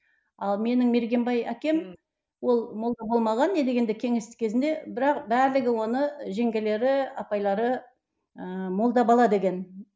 ал менің мергенбай әкем ол молда болмаған не дегенде кеңестік кезінде бірақ барлығы оны жеңгелері апайлары ыыы молда бала деген